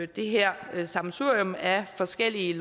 det her sammensurium af forskellige